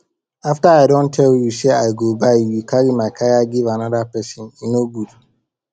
after i don tell you say i go buy you carry my kaya give another person e no good